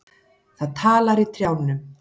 Það talar í trjánum.